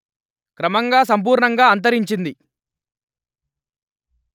క్రమంగా సంపూర్ణంగా అంతరించింది